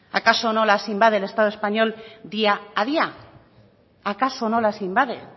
acaso no las invade el estado español día a día acaso no las invade